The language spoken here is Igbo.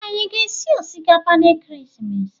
Anyi aga esi osikapa na ekeresimesi a?